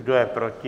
Kdo je proti?